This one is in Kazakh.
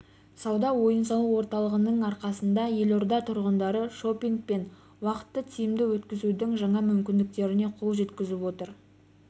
сауда ойын-сауық орталығының арқасында елорда тұрғындары шопинг пен уақытты тиімді өткізудің жаңа мүмкіндіктеріне қол жеткізіп отыр